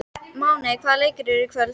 Máney, hvaða leikir eru í kvöld?